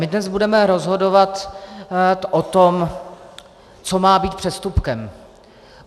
My dnes budeme rozhodovat o tom, co má být přestupkem.